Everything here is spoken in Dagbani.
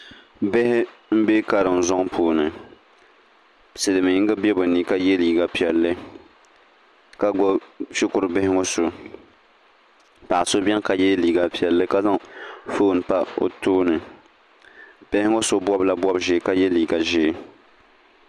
Bihi m bɛ karinzuŋ puuni silimiinga bɛ be ni ka ye liiga piɛlli ka gbubi shikurubihi ŋɔ so paɣ'so beni ka ye liiga piɛlli ka zaŋ foon pa o tooni bihi ŋɔ so bɔbila bɔb'ʒee ka ye liiga ʒee